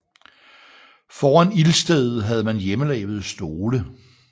Foran ildstedet havde man hjemmelavede stole